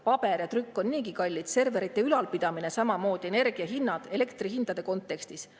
Paber ja trükk on niigi kallid, serverite ülalpidamine, samamoodi energia hinnad elektrihindade kontekstis.